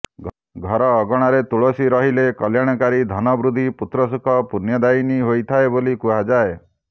ଘର ଅଗଣାରେ ତୁଳସୀ ରହିଲେ କଲ୍ୟାଣକାରୀ ଧନ ବୃଦ୍ଧି ପୁତ୍ର ସୁଖ ପୁଣ୍ୟଦାୟିନୀ ହୋଇଥାଏ ବୋଲି କୁହାଯାଏ